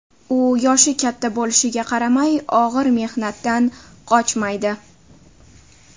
U yoshi katta bo‘lishiga qaramay, og‘ir mehnatdan qochmaydi.